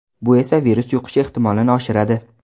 Bu esa virus yuqishi ehtimolini oshiradi.